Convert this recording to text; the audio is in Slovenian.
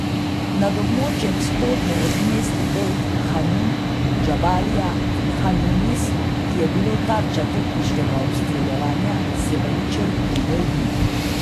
Nad območjem vzhodno od mest Bejt Hanun, Džabalija in Han Junis, ki je bilo tarča topniškega obstreljevanja, se vali črn in bel dim.